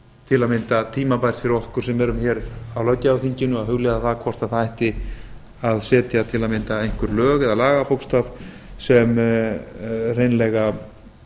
til að mynda tímabært fyrir okkur sem erum á löggjafarþinginu að hugleiða hvort það ætti til að mynda að setja einhver lög eða lagabókstaf sem hreinlega